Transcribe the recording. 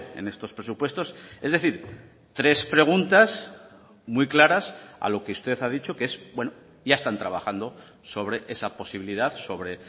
en estos presupuestos es decir tres preguntas muy claras a lo que usted ha dicho que es bueno ya están trabajando sobre esa posibilidad sobre